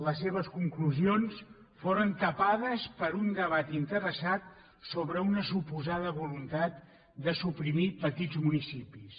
les seves conclusions foren tapades per un debat interessat sobre una suposada voluntat de suprimir petits municipis